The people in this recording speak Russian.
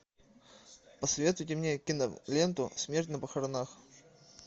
посоветуйте мне киноленту смерть на похоронах